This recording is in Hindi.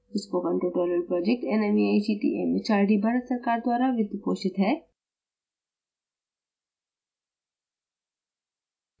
spoken tutorial project nmeict mhrd Bharat सरकार द्वारा वित्तपोषित है